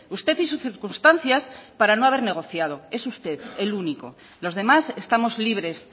usted y sus circunstancias para no haber negociado es usted el único los demás estamos libres